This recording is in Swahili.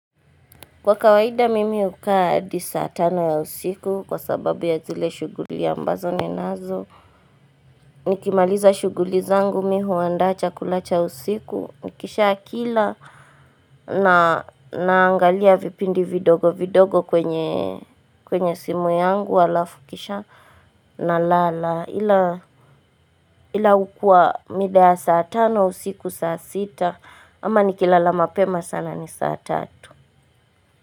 Kwa kawaida mimi hukaa hadi saatano ya usiku kwa sababu ya zile shughuli ambazo ni nazo Nikimaliza shughuli zangu mimihu andacha kulacha usiku Nikisha kila na naangalia vipindi vidogo vidogo kwenye kwenye simu yangu wala fukisha na lala Ila hukua mida saatano usiku saa sita ama nikilala mapema sana ni saa tatu.